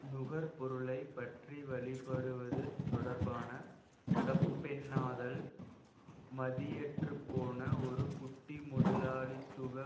நுகர்பொருளை பற்றிவழிபடுவது தொடர்பான தப்பெண்ணாதல் மதியற்றுப்போன ஒரு குட்டி முதலாளித்துவ